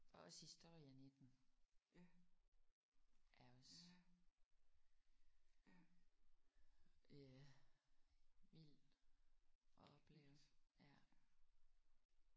Og også historien i den er også øh vild at opleve ja